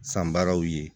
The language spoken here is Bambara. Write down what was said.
San baaraw ye